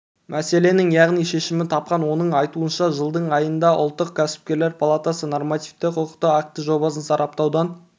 мәселенің яғни шешімін тапқан оның айтуынша жылдың айында ұлттық кәсіпкерлер палатасы нормативтік-құқықтық акті жобасын сараптаудан